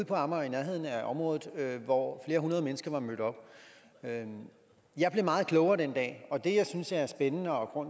på amager i nærheden af området hvor flere hundrede mennesker var mødt op jeg blev meget klogere den dag og det jeg synes er spændende og